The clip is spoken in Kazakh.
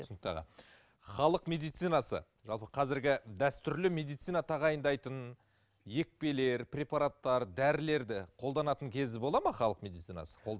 түсінікті аға халық медицинасы жалпы қазіргі дәстүрлі медицина тағайындайтын екпелер препараттар дәрілерді қолданатын кезі болады ма халық медицинасы